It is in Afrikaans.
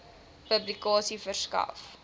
publikasie verskaf